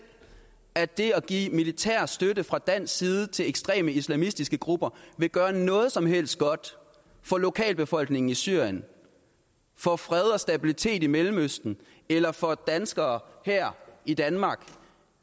at det at give militær støtte fra dansk side til ekstreme islamistiske grupper vil gøre noget som helst godt for lokalbefolkningen i syrien for fred og stabilitet i mellemøsten eller for danskere her i danmark